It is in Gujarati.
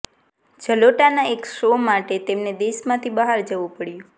જલોટાના એક શો માટે તેમને દેશમાંથી બહાર જવુ પડ્યુ